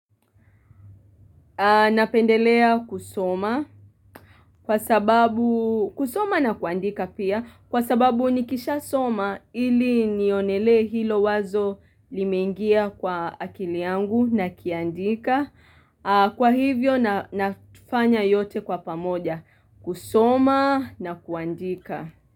Napendelea kusoma kwa sababu, kusoma na kuandika pia kwa sababu nikishasoma ili nionelee hilo wazo limeingia kwa akili yangu nakiandika. Kwa hivyo nafanya yote kwa pamoja kusoma na kuandika.